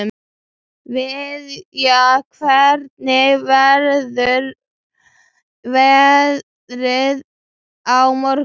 Viðja, hvernig verður veðrið á morgun?